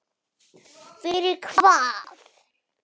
Fyrir hvað?